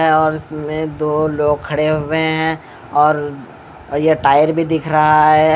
और उसमें दो लोग खड़े हुए हैं और ये टायर भी दिख रहा है।